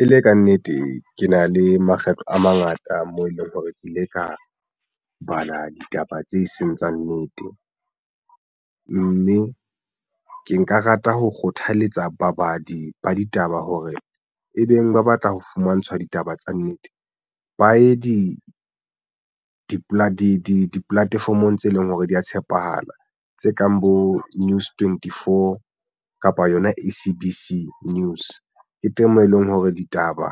E le kannete, ke na le makgetlo a mangata moo e leng hore ke ile ka bala ditaba tse seng tsa nnete mme ke nka rata ho kgothaletsa babadi ba ditaba hore e beng ba batla ho fumantshwa ditaba tsa nnete. Ba ye di-platform-ong tse leng hore di ya tshepahala tse kang bo news twenty four kapa yona SABC news teng moo e leng hore ditaba